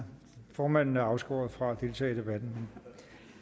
formanden er afskåret fra at deltage i debatten